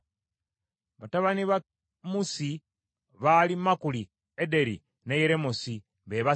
Batabani ba Musi baali Makuli, Ederi ne Yeremosi be basatu.